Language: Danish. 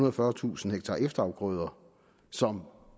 og fyrretusind ha efterafgrøder som